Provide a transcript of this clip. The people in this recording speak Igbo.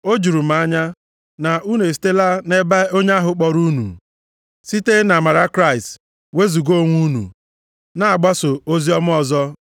O juru m anya, na unu esitela nʼebe onye ahụ kpọrọ unu site nʼamara Kraịst wezuga onwe unu, na-agbaso oziọma ọzọ,